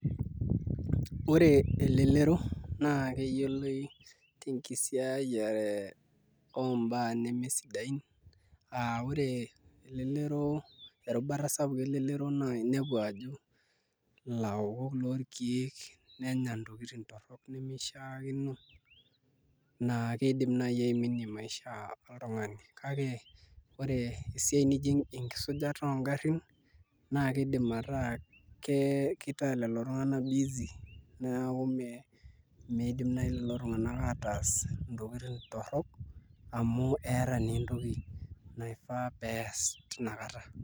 Ore elelero naa keyiolou enkisiayiare ombaa nemesidain aa Ore erubata sapuk elelero naa inepu ajo ilaokok lorkeek nenya ntokiting torrok nemishiakino naa kiidim naai aiminie maisha oltung'ani, kake Ore esiai nijo enkisujata oongarrin naa kiidim attack kitaa leo tung'anak busy, neeku miidim naai leo tung'anak ataas ntokitin torrok amu eeta naa entoki naifaa pees tinakata.